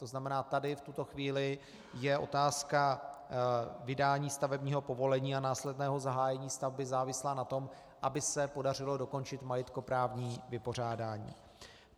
To znamená, tady v tuto chvíli je otázka vydání stavebního povolení a následného zahájení stavby závislá na tom, aby se podařilo dokončit majetkoprávní vypořádání.